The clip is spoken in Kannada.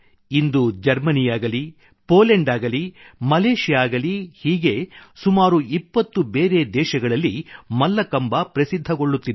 ಇಂದು ಜರ್ಮನಿಯಾಗಲಿ ಪೋಲ್ಯಾಂಡ್ ಆಗಲಿ ಮಲೇಷ್ಯಾ ಆಗಲಿ ಹೀಗೆ ಸುಮಾರು 20 ಬೇರೆ ದೇಶಗಳಲ್ಲಿ ಮಲ್ಲಕಂಬ ಪ್ರಸಿದ್ಧಗೊಳ್ಳುತ್ತಿದೆ